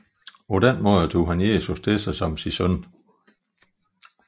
På den måde tog han Jesus til sig som sin søn